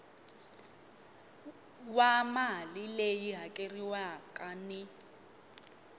wa mali leyi hakeriwaka ni